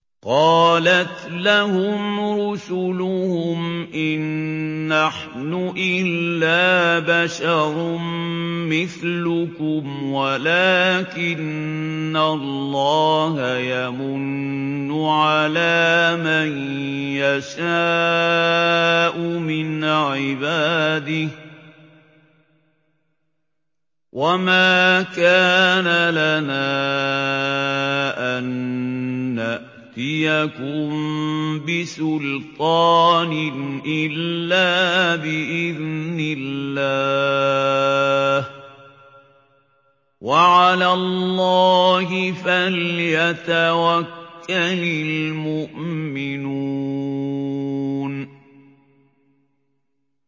قَالَتْ لَهُمْ رُسُلُهُمْ إِن نَّحْنُ إِلَّا بَشَرٌ مِّثْلُكُمْ وَلَٰكِنَّ اللَّهَ يَمُنُّ عَلَىٰ مَن يَشَاءُ مِنْ عِبَادِهِ ۖ وَمَا كَانَ لَنَا أَن نَّأْتِيَكُم بِسُلْطَانٍ إِلَّا بِإِذْنِ اللَّهِ ۚ وَعَلَى اللَّهِ فَلْيَتَوَكَّلِ الْمُؤْمِنُونَ